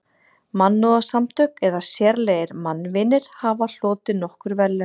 Mannúðarsamtök eða sérlegir mannvinir hafa hlotið nokkur verðlaun.